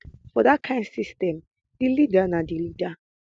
for dat kain system di leader na di leader